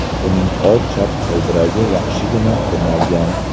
Uning old chap g‘ildiragi yaxshigina tirnalgan.